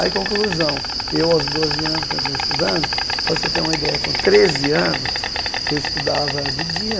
Aí, conclusão, eu aos doze anos, continuei estudando, para você ter uma ideia, com treze anos, eu estudava de dia.